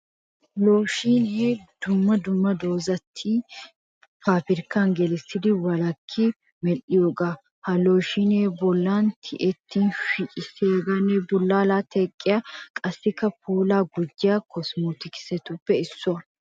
Looshiinee dumma dumma doozzati paabrikkan gelissidi walakki medhdhiyoogaa. Ha looshiinee bollaa tiyettin shugissiyaanne bullaalaa teqqiya qassikka puulaa gujjiya kosmootikistuppe issuwa.